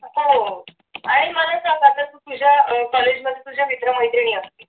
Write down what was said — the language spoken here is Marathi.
हो आणि आता मला तू सांग तुझ्या अह कॉलेजमध्ये तुझ्या मित्र मैत्रिणी असतील